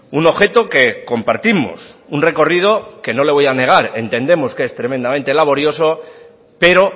un objeto que compartimos un recorrido que no le voy a negar entendemos es tremendamente laborioso pero